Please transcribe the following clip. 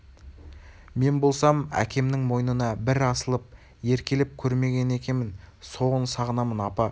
мен болсам әкемнің мойнына бір асылып еркелеп көрмеген екемін соны сағынамын апа